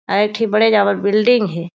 अउ एक तहि बड़े जबर बिल्डिंग हे।